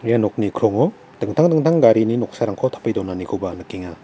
ia nokni krongo dingtang dingtang garini noksarangko tape donanikoba nikenga.